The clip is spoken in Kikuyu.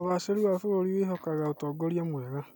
ũgacĩĩru wa bũrũri wĩhokaga ũtongoria mwega.